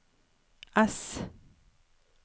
S